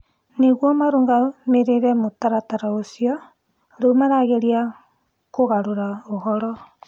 Nĩguo marũgamĩrĩrĩ mũtaratara ũcio; rĩu marageria kũgarũra ũhoro.